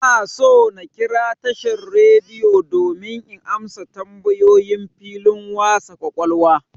Ina so na kira tashan'r rediyo domin in amsa tambayoyin filin wasa ƙwaƙwalwa.